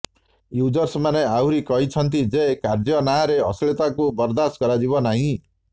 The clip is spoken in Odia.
ୟୁଜର୍ସମାନେ ଆହୁରି କହିଛନ୍ତି ଯେ କାର୍ଯ୍ୟ ନାଁରେ ଅଶ୍ଳୀଳତାକୁ ବରଦାସ୍ତ କରାଯିବ ନାହିଁ